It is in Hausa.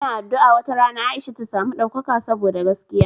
Ina addu'a wata rana Aisha ta samu ɗaukaka saboda gaskiya.